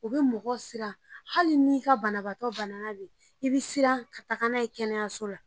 U bɛ mɔgɔ siran hali ni ka banabaatɔ banana de, i bɛ siran ka taa n'a ye kɛnɛyaso la.